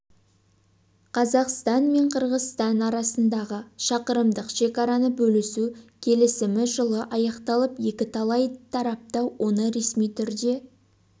қазақстан мен қырғызстан арасындағы шақырымдық шекараны бөлісу келісімі жылы аяқталып екі тарап та оны ресми түрде